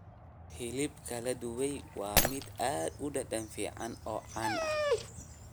Hilibka la dubay waa mid aad u dhadhan fiican oo caan ah.